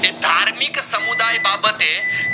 તે ધાર્મિક સમુદાયે બાબતે